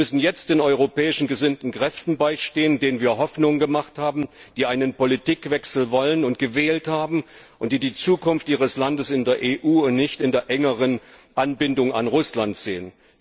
Wir müssen jetzt den europäisch gesinnten Kräften beistehen, denen wir Hoffnung gemacht haben, die einen Politikwechsel wollen und gewählt haben und die die Zukunft ihres Landes in der EU und nicht in der engeren Anbindung an Russland sehen.